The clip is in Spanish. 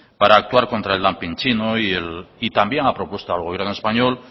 para actuar contra el dumping chino y también ha propuesto al gobierno español